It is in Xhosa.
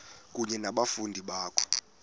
kunye nabafundi bakho